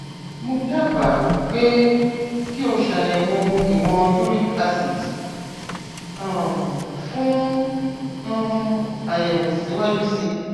mo dábàá pé kí o ṣàyẹwò ìwọn uric acid um fún um àyẹwò síwájú sí i